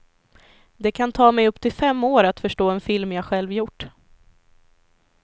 Det kan ta mig upp till fem år att förstå en film jag själv gjort.